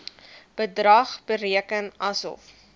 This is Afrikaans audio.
bedrag bereken asof